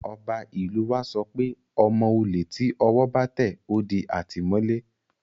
Ọba ìlú u wa sọ pé ọmọ olè tí ọwọ́ bá tẹ̀, ó di àtìmọ́lé